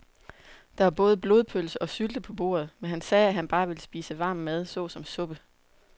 Der var både blodpølse og sylte på bordet, men han sagde, at han bare ville spise varm mad såsom suppe.